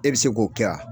E bɛ se k'o kɛ wa